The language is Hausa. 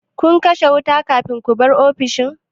Kun kashe wuta kafin ku bar ofis?